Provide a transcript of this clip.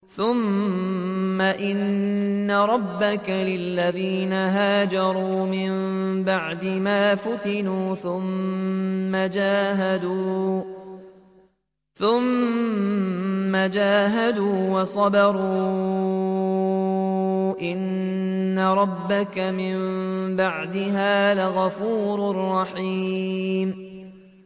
ثُمَّ إِنَّ رَبَّكَ لِلَّذِينَ هَاجَرُوا مِن بَعْدِ مَا فُتِنُوا ثُمَّ جَاهَدُوا وَصَبَرُوا إِنَّ رَبَّكَ مِن بَعْدِهَا لَغَفُورٌ رَّحِيمٌ